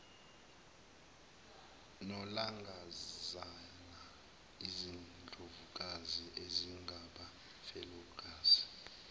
nolangazana izindlovukazi ezingabafelokazi